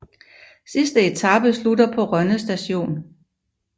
Sidste etape slutter på Rønne Stadion